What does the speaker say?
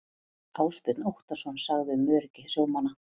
Ásbjörn Óttarsson sagði um öryggi sjómanna.